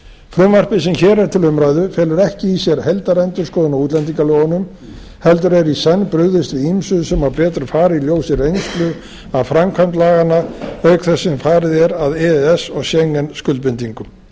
frumvarpið sem hér er til umræðu felur ekki í sér heildarendurskoðun á útlendingalögunum heldur er í senn brugðist við ýmsu sem betur má fara í ljósi reynslu af framkvæmd laganna auk þess sem farið er að e e s og schengen skuldbindingum ég